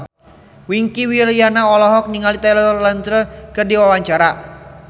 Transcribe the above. Wingky Wiryawan olohok ningali Taylor Lautner keur diwawancara